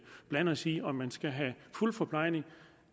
blande os i om man skal have fuld forplejning